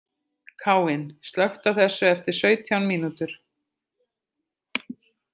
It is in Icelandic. Káinn, slökktu á þessu eftir sautján mínútur.